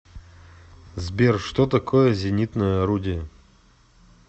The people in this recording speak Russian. сбер что такое зенитное орудие